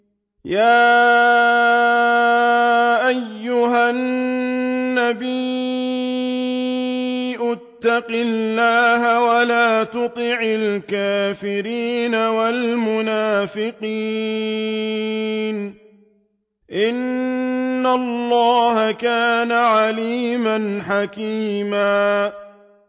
يَا أَيُّهَا النَّبِيُّ اتَّقِ اللَّهَ وَلَا تُطِعِ الْكَافِرِينَ وَالْمُنَافِقِينَ ۗ إِنَّ اللَّهَ كَانَ عَلِيمًا حَكِيمًا